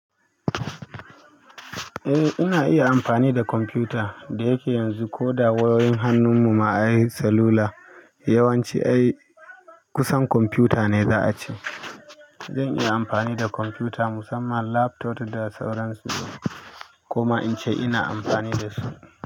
Eh, ina iya anfani da computer dayake yanzu koda wayo yin hannum mu ma salu lane yawanci ai kusan computer ne za a ce zan iya amfani da kwamfuta musamman laptop da sauransu kuma in ce ina amfani da su.